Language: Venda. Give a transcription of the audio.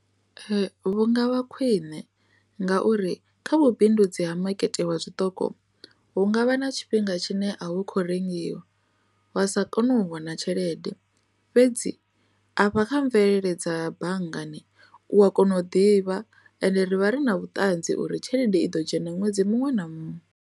Ee, vhu nga vha khwine ngauri kha vhubindudzi ha makete wa zwiṱoko hu nga vha na tshifhinga tshine a wo kho rengiwa wa sa kone u vhona tshelede fhedzi afha kha mvelele dza banngani u a kona u ḓivha ende ri vha ri na vhuṱanzi uri tshelede i ḓo dzhena ṅwedzi muṅwe na muṅwe.